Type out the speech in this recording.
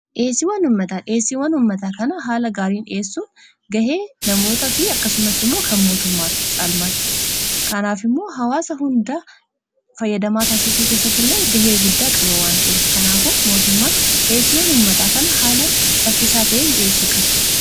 dheesii wan ummataa dheesiiwwan ummataa kana haala gaariin dhi'eessuu gahee namoota fi akkasumas immoo kan mootummaatti caalmaatti kanaaf immoo hawaasa hundaa fayyadamaa taasisuu keessatti illee gahee guddaa qabawwan ta'e kanaafu mootummaan dheesii wan ummataa kana haala saffisaa ta'iin dhi'eessuu qaba